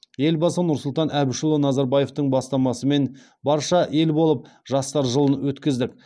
елбасы нұрсұлтан әбішұлы назарбаевтың бастамасымен барша ел болып жастар жылын өткіздік